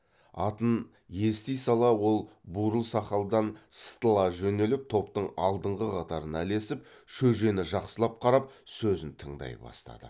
атын ести сала ол бурыл сақалдан сытыла жөнеліп топтың алдыңғы қатарына ілесіп шөжені жақсылап қарап сөзін тыңдай бастады